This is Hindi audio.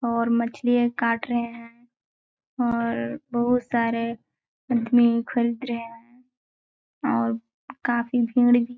और मछलियाँ काट रहे है और बहोत सारे आदमी खरीद रहे है और काफी भीड़ भी--